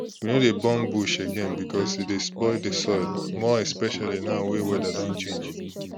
we no dey burn bush again because e dey spoil the soil more especially now wey weather don change